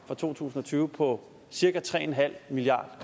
for to tusind og tyve på cirka tre milliard